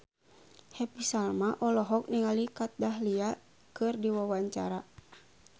Happy Salma olohok ningali Kat Dahlia keur diwawancara